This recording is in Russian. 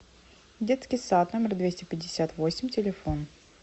детский сад номер двести пятьдесят восемь телефон